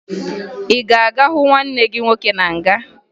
Ị ga-aga hụ nwanne gị nwoke na nga!